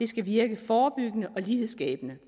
skal virke forebyggende og lighedsskabende